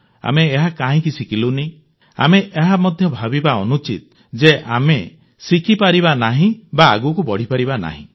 ଆମେ ବି ଏହା କାହିଁକି ଶିଖିଲୁନି ଆମେ ଏହା ମଧ୍ୟ ଭାବିବା ଅନୁଚିତ ଯେ ଆମେ ଶିଖିପାରିବା ନାହିଁ ବା ଆଗକୁ ବଢ଼ିପାରିବା ନାହିଁ